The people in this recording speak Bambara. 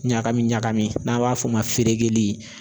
Ɲagami ɲagami ,n'an b'a f'o ma feereli